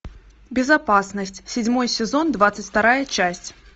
безопасность седьмой сезон двадцать вторая часть